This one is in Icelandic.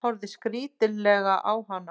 Horfði skrítilega á hana.